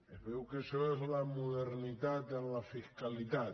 es veu que això és la modernitat en la fiscalitat